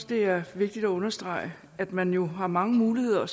det er vigtigt at understrege at man jo har mange muligheder